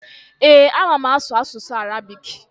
Ee, ama m asụ asụsụ Arabik.